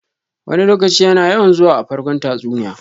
"Wani lokaci" yana yawan zuwa a farkon tatsuniya.